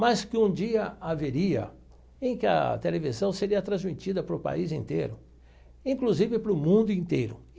Mas que um dia haveria em que a televisão seria transmitida para o país inteiro, inclusive para o mundo inteiro.